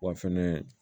Wa fɛnɛ